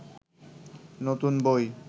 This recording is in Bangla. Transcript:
নতুন বই